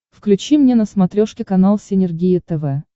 включи мне на смотрешке канал синергия тв